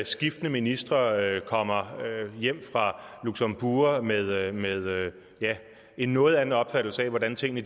skiftende ministre kommer hjem fra luxembourg med en noget anden opfattelse af hvordan tingene